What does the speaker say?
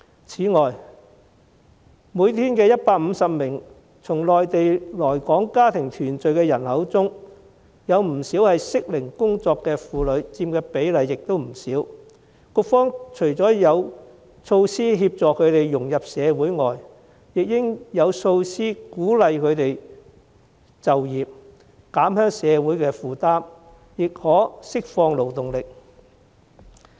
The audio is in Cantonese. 此外，每天150名從內地來港家庭團聚的人口中，適齡工作的婦女所佔的比例亦不少，局方除了應有措施協助她們融入社會外，亦應有措施鼓勵她們就業，在減輕社會負擔之餘，亦可釋放勞動力。